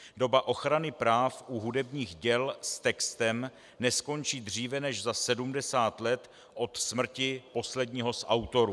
Doba ochrany práv u hudebních děl s textem neskončí dříve než za 70 let od smrti posledního z autorů.